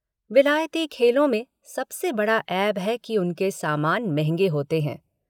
विलायती खेलों में सबसे बड़ा ऐब है कि उनके सामान महँगे होते हैं।